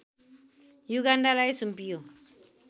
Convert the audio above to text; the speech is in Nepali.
युगान्डालाई सुम्पियो